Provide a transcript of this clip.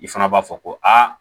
I fana b'a fɔ ko aa